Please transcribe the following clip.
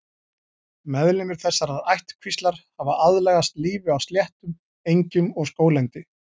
Meðlimir þessarar ættkvíslar hafa aðlagast lífi á sléttum, engjum og skóglendi.